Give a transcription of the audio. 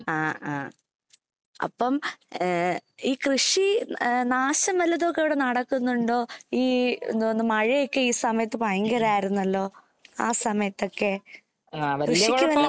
ആ ആ അപ്പം ഈ കൃഷി നാശം വല്ലതുമൊക്കെ നടക്കുന്നുണ്ടോ. ഈ മഴയൊക്കെ ഈ സമയത്ത് ഭയങ്കരായിരുന്നല്ലോ. ആ സമയത്തൊക്കെ.കൃഷിക്ക് വല്ല കുഴപ്പം